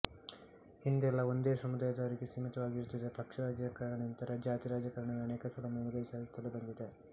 ಹಿಂದೆಲ್ಲ ಒಂದೇ ಸಮುದಾಯದವರಿಗೆ ಸೀಮಿತವಾಗಿರುತ್ತಿದ್ದ ಪಕ್ಷ ರಾಜಕಾರಣಕ್ಕಿಂತ ಜಾತಿ ರಾಜಕಾರಣವೇ ಅನೇಕ ಸಲ ಮೇಲುಗೈ ಸಾಧಿಸುತ್ತಲೇ ಬಂದಿದೆ